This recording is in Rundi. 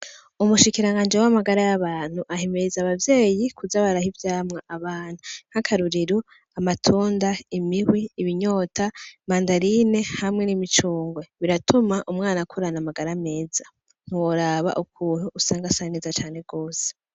Umushikiranganji w'amagara y'abantu ahimiriza abavyeyi kuza baraha ivyamwa abana, nk'akarorero , amatunda, imihwi, ibinyota hamwe n'imicungwe biratuma umwana akura afise amagara meza woraba ukuntu umwana usanga akura asa neza cane gose.